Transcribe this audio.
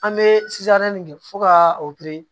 An bɛ nin kɛ fo ka opere